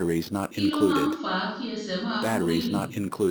kí ló máa ń fa kí ẹsẹ̀ máa kú rìrì?